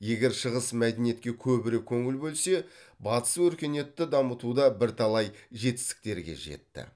егер шығыс мәдениетке көбірек көңіл бөлсе батыс өркениетті дамытуда бірталай жетістіктерге жетті